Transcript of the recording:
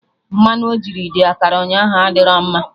Mmanụ ojiri the akara ụnyaahụ adịro mma